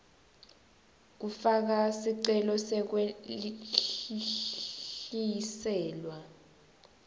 kufaka sicelo sekwehliselwa